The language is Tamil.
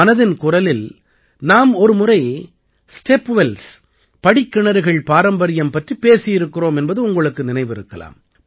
மனதின் குரலில் நாம் ஒரு முறை ஸ்டெப் வெல்ஸ் படிக்கிணறுகள் பாரம்பரியம் பற்றிப் பேசியிருக்கிறோம் என்பது உங்களுக்கு நினைவிருக்கலாம்